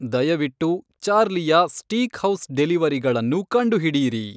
ದಯವಿಟ್ಟು ಚಾರ್ಲಿಯ ಸ್ಟೀಕ್‌ಹೌಸ್ ಡೆಲಿವರಿಗಳನ್ನು ಕಂಡುಹಿಡಿಯಿರಿ